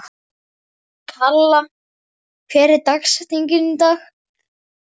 Kalla, hver er dagsetningin í dag?